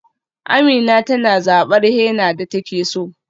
Amina tana zabar henna da take so.